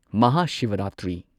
ꯃꯍꯥꯁꯤꯚꯔꯥꯇ꯭ꯔꯤ